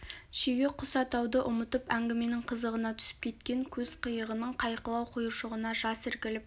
шеге құс атуды ұмытып әңгіменің қызығына түсіп кеткен көз қиығының қайқылау құйыршығына жас іркіліп